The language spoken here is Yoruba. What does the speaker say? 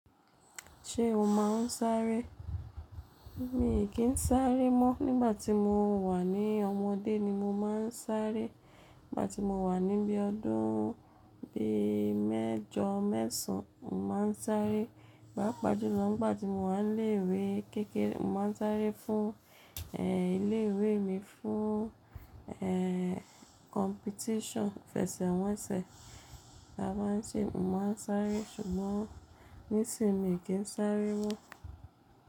Ṣé o máa ń sáré? Mi kì í sáré mọ́. Nígbà tí mo wà ní ọmọdé ni mo máa ń sáré. Nígbà tí mo wà níbí ọdún bí mẹ́jọ, mẹ́sàn án, mo máa ń sáré. Pá pa jù ló, nígbà tí mo wà ní ilé-ìwé kékeré, mo máa ń sáré fún, ilé-ìwé mi, fún, competition, ìfẹsẹ̀wọnsẹ̀, tá bá ń se, mo máa ń sáré. Ṣùgbọ́n nísìnyí mi kì í sáré mọ́